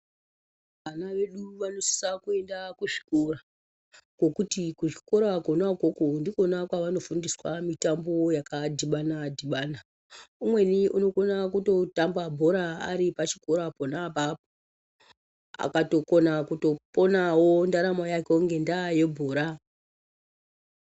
Vana vedu vanosisa kuenda kuzvikora, ngokuti kuzvikora kona ukoko ndikona kwavanofundiswa mitambo yakadhibana-dhibana. Umweni unokona kutotamba bhora ari pachikora pona apapo akatokona kutoponawo ndaramo yake ngendaa yebhora.